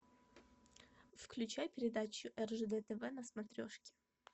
включай передачу ржд тв на смотрешке